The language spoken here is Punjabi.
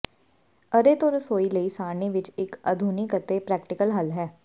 ਅਰੇ ਤੋਂ ਰਸੋਈ ਲਈ ਸਾਰਣੀ ਵਿੱਚ ਇੱਕ ਆਧੁਨਿਕ ਅਤੇ ਪ੍ਰੈਕਟੀਕਲ ਹੱਲ ਹੈ